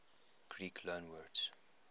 greek loanwords